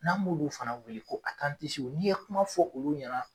N'an b'olu fana wele ko a n'i ye kuma fɔ olu ɲɛna.